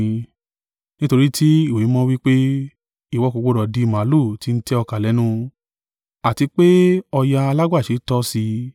Nítorí tí Ìwé Mímọ́ wí pé, “Ìwọ kò gbọdọ̀ di màlúù ti ń tẹ ọkà lẹ́nu,” àti pé, “Ọ̀yà alágbàṣe tọ́ sí i.”